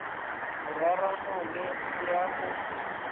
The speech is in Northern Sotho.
go rarana le ya go